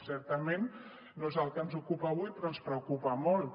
certament no és el que ens ocupa avui però ens preocupa molt